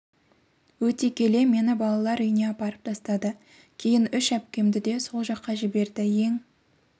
өте келе мені балалар үйіне апарып тастады кейін үш әпкемді де сол жаққа жіберді ең